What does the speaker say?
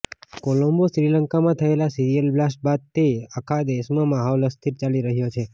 કોલંબોઃ શ્રીલંકામાં થયેલા serial blast બાદથી આખા દેશમાં માહોલ અસ્થિર ચાલી રહ્યો છે